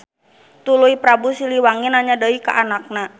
Tuluy Prabu Siliwangi nanya deui ka anakna.